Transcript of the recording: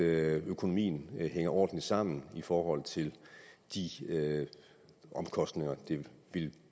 at økonomien hænger ordentligt sammen i forhold til de omkostninger det ville